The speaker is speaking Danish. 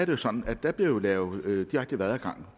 jo sådan at der bliver lavet